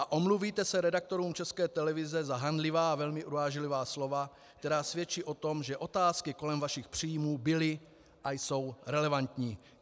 A omluvíte se redaktorům České televize za hanlivá a velmi urážlivá slova, která svědčí o tom, že otázky kolem vašich příjmů byly a jsou relevantní?